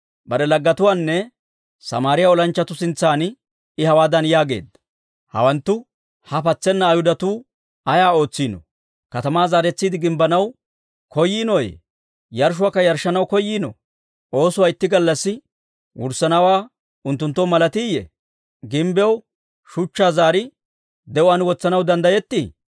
Bare laggetuwaanne Samaariyaa olanchchatuu sintsan I hawaadan yaageedda; «Hawanttu, ha patsena Ayhudatuu ayaa ootsiinoo? Katamaa zaaretsiide gimbbanaw koyiinooyye? Yarshshuwaakka yarshshanaw koyiinoo? Oosuwaa itti gallassi wurssanawaa unttunttoo malatiiyye? Gimbbiyaw shuchchaa zaari de'uwaan wotsanaw danddayetti?»